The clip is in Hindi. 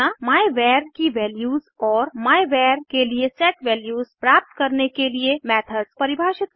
मायवर की वैल्यूज और मायवर के लिए सेट वैल्यूज प्राप्त करने के लिए मेथड्स परिभाषित करना